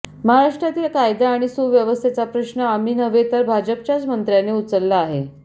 महाराष्ट्रातील कायदा आणि सुव्यवस्थेचा प्रश्न आम्ही नव्हे तर भाजपच्याच मंत्र्यांनी उचलला आहे